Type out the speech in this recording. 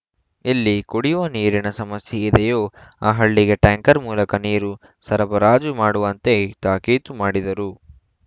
ಎಲ್ಲಿ ಕುಡಿಯುವ ನೀರಿನ ಸಮಸ್ಯೆ ಇದೆಯೋ ಆ ಹಳ್ಳಿಗೆ ಟ್ಯಾಂಕರ್‌ ಮೂಲಕ ನೀರು ಸರಬರಾಜು ಮಾಡುವಂತೆ ತಾಕೀತು ಮಾಡಿದರು